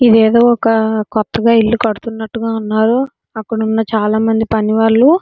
ఏదో ఒక కొత్తగా ఇల్లు కడుతున్నట్టు గా ఉన్నారు అక్కడ ఉన్న చాలా మంది పనివాళ్ళు.